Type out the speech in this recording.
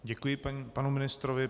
Děkuji panu ministrovi.